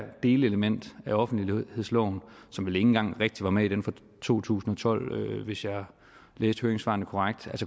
delelement af offentlighedsloven som vel ikke engang rigtig var med i den fra to tusind og tolv hvis jeg læste høringssvarene korrekt